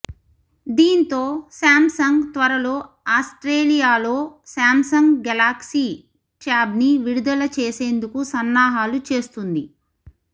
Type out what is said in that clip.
దీంతో శాంసంగ్ త్వరలో ఆస్టేలియాలో శాంసంగ్ గెలాక్యీ ట్యాబ్ని విడుదల చేసేందుకు సన్నాహాలు చేస్తుంది